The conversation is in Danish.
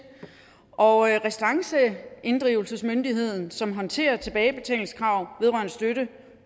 og restanceinddrivelsesmyndigheden som håndterer tilbagebetalingskrav vedrørende støtte